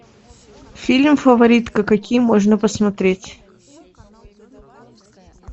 фильм фаворитка какие можно посмотреть